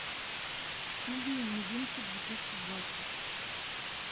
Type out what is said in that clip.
фильмы новинки две тысячи двадцать